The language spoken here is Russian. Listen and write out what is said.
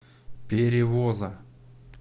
перевоза